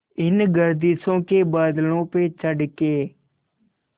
इन गर्दिशों के बादलों पे चढ़ के